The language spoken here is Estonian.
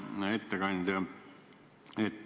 Hea ettekandja!